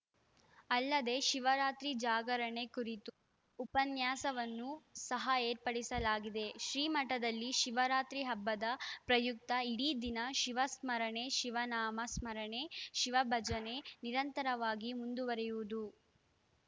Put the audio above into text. ಅಲ್ಲದೆ ಶಿವರಾತ್ರಿ ಜಾಗರಣೆ ಕುರಿತು ಉಪನ್ಯಾಸವನ್ನು ಸಹ ಏರ್ಪಡಿಸಲಾಗಿದೆ ಶ್ರೀಮಠದಲ್ಲಿ ಶಿವರಾತ್ರಿ ಹಬ್ಬದ ಪ್ರಯುಕ್ತ ಇಡೀ ದಿನ ಶಿವ ಸ್ಮರಣೆ ಶಿವನಾಮ ಸ್ಮರಣೆ ಶಿವ ಭಜನೆ ನಿರಂತರವಾಗಿ ಮುಂದುವರೆಯುವುದು